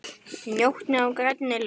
Njóttu þín á grænni grund.